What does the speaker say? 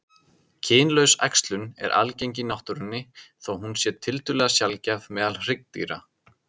Kynlaus æxlun er algeng í náttúrunni þó hún sé tiltölulega sjaldgæf meðal hryggdýra.